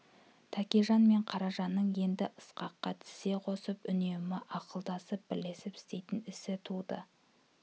тәкежан мен қаражанның енді ысқаққа тізе қосып үнемі ақылдасып бірлесіп істейтін істері туды